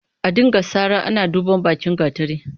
A dinga sara ana duban bakin gatari.